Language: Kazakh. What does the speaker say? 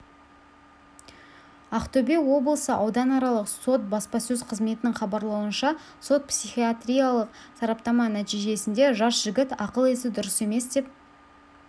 ақтөбе облысы ауданаралық сот баспасөз қызметінің хабарлауынша сот-психиатриялық сараптама нәтижесінде жас жігіт ақыл-есі дұрыс емес деп